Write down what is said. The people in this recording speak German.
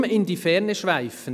Warum in die Ferne schweifen?